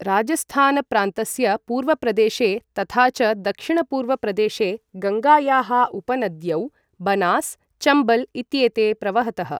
राजस्थान प्रान्तस्य पूर्वप्रदेशे तथा च दक्षिणपूर्वप्रदेशे गङ्गायाः उपनद्यौ बनास् चम्बल् इत्येते प्रवहतः।